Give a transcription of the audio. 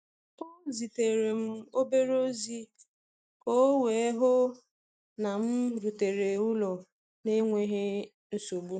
O zitere m obere ozi ka o wee hụ na m rutere ụlọ n’enweghị nsogbu.